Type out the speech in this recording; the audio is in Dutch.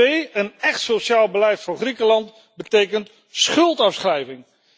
Twee, een echt sociaal beleid voor Griekenland betekent schuldafschrijving.